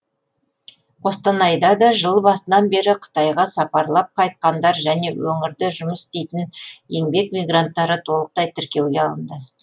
қостанайда да жыл басынан бері қытайға сапарлап қайтқандар және өңірде жұмыс істейтін еңбек мигранттары толықтай тіркеуге алынды